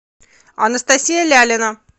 анастасия лялина